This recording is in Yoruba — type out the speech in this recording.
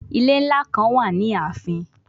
Ile nla kan wa ni aafin